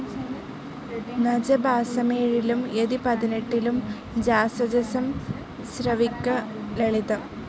നജ ഭാസമേഴിലും യതി പതിനെട്ടിലും ജാസ ജസം ശ്രവിക്ക ലളിതം.